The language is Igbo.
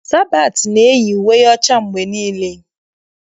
Sabatị na-eyi uwe ọcha mgbe niile.